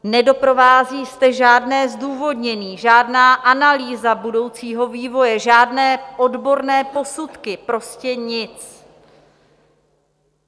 Nedoprovází zde žádné zdůvodnění, žádná analýza budoucího vývoje, žádné odborné posudky, prostě nic.